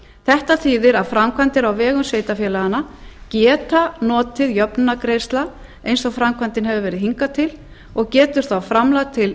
þetta þýðir að framkvæmdir á vegum sveitarfélaganna geta notið jöfnunargreiðslna eins og framkvæmdin hefur verið hingað til og getur þá framkvæmd til